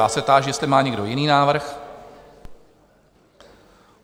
Já se táži, jestli má někdo jiný návrh?